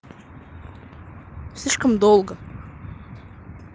слишком долго